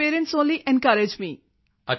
my parents only encourage may